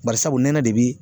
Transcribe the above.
Bari sabu nɛnɛ de bi